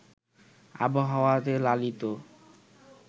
আবহাওয়ায় লালিত